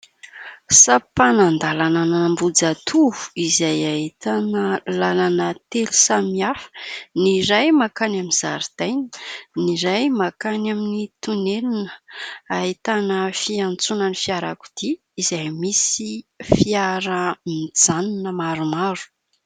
Sampanan-dalana an'Ambohijatovo izay ahitana lalana telo samy hafa. Ny iray mankany amin'ny zaridaina, ny iray mankany amin'ny tonelina ahitana fiantsonan'ny fiarakodia izay misy fiara mijanona maromaro.